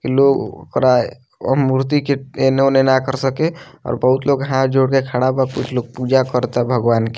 इ लोग ओकरा अ मूर्ति के एन्ने-ओने ना कर सके और बहुत लोग हांथ जोड़ के खड़ा बा कुछ लोग पूजा कर ता भगवान के।